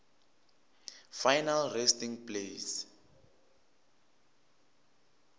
final resting place